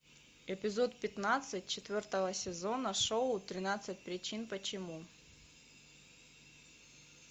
эпизод пятнадцать четвертого сезона шоу тринадцать причин почему